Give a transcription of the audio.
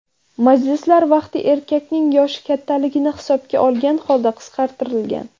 Majlislar vaqti erkakning yoshi kattaligini hisobga olgan holda qisqartirilgan.